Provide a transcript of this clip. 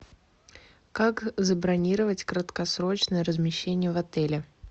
как забронировать краткосрочное размещение в отеле